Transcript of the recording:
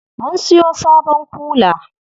Mun siyo sabon kula.